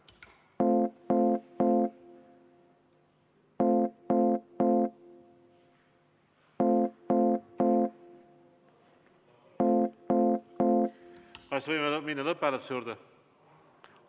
Kas võime minna lõpphääletuse juurde?